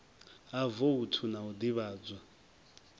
ha voutu na u ḓivhadzwa